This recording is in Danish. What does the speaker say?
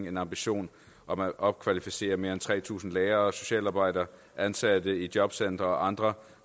en ambition om at opkvalificere mere end tre tusind lærere og socialarbejdere ansatte i jobcentre og andre